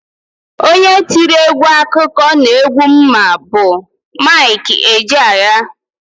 Onye tiri egwu akụkọ n'egwu m ma bụ Mik Ejeaya.